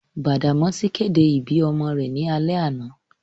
Badamasi kede ibi ọmọ rẹ ni alẹ ana.